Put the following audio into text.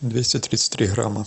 двести тридцать три грамма